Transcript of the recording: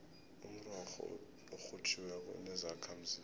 umrorho orhutjhiweko unezakhamzimba